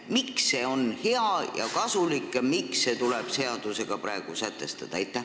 Miks on see hea ja kasulik ning miks see tuleb praegu seadusega sätestada?